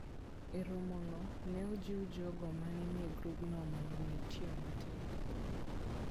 E romono, ne ojiw jogo ma ne nie grupno mondo omed tiyo matek.